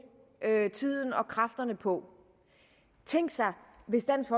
tiden og kræfterne på tænk sig hvis dansk